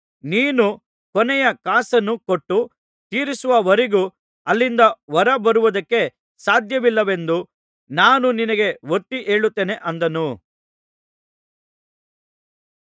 ನೀನು ಕೊನೆಯ ಕಾಸನ್ನು ಕೊಟ್ಟು ತೀರಿಸುವವರೆಗೂ ಅಲ್ಲಿಂದ ಹೊರ ಬರುವುದಕ್ಕೆ ಸಾಧ್ಯವಿಲ್ಲವೆಂದು ನಾನು ನಿನಗೆ ಒತ್ತಿ ಹೇಳುತ್ತೇನೆ ಅಂದನು